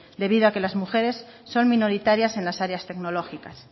debido a que las mujeres son minoritarias en las áreas tecnológicas